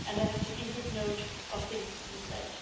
And I have taken good note of things you said.